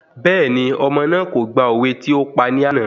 Bẹ́ẹ̀ni, ọmọ náà kò gba òwe tí ópa ní àná